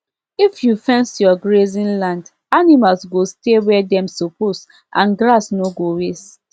if you fence your grazing land animals go stay where dem suppose and grass no go waste